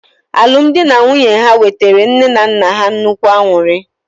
Alụmdi na nwunye ha wetara nne na nna ha nnukwu aṅụrị.